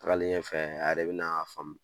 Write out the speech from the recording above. Tagalen ɲɛfɛ, a yɛrɛ be n'a faamu